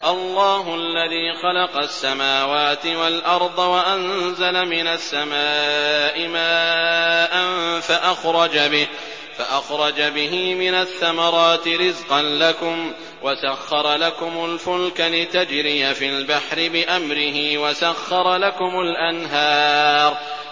اللَّهُ الَّذِي خَلَقَ السَّمَاوَاتِ وَالْأَرْضَ وَأَنزَلَ مِنَ السَّمَاءِ مَاءً فَأَخْرَجَ بِهِ مِنَ الثَّمَرَاتِ رِزْقًا لَّكُمْ ۖ وَسَخَّرَ لَكُمُ الْفُلْكَ لِتَجْرِيَ فِي الْبَحْرِ بِأَمْرِهِ ۖ وَسَخَّرَ لَكُمُ الْأَنْهَارَ